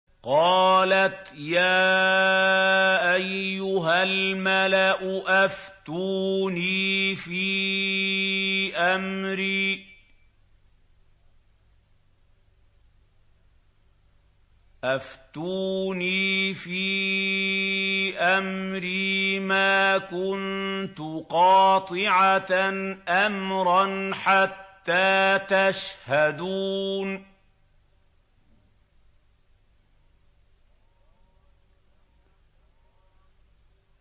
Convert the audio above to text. قَالَتْ يَا أَيُّهَا الْمَلَأُ أَفْتُونِي فِي أَمْرِي مَا كُنتُ قَاطِعَةً أَمْرًا حَتَّىٰ تَشْهَدُونِ